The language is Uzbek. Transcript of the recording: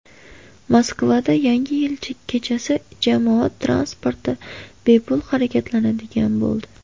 Moskvada Yangi yil kechasi jamoat transporti bepul harakatlanadigan bo‘ldi.